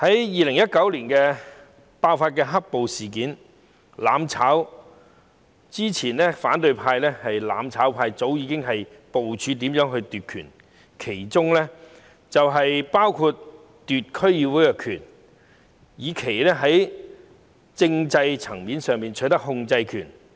2019年爆發"黑暴"事件，反對派及"攬炒派"在"攬炒"前早已部署如何奪權，包括在區議會奪權，以期在政制層面取得控制權。